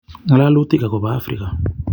Ngololutik ago bo Afrika.